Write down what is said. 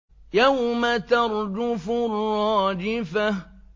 يَوْمَ تَرْجُفُ الرَّاجِفَةُ